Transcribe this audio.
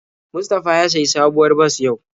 Mustafa ya sayi sabuwar bas yau.